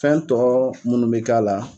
Fɛn tɔ munnu be k'a la.